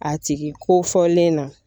A tigi ko fɔlen na